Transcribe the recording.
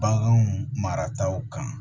Baganw marataw kan